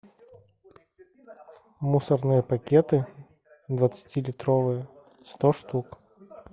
мусорные пакеты двадцати литровые сто штук